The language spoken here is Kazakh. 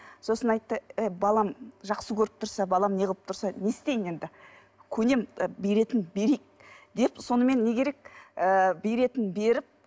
сосын айтты ы балам жақсы көріп тұрса балам неғып тұрса не істейін енді көнемін беретінін берейік деп сонымен не керек ыыы беретінін беріп